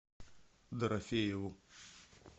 дорофееву